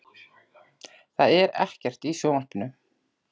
Það er ekkert í sjónvarpinu.